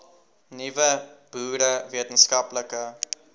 nuwe boere wetenskaplike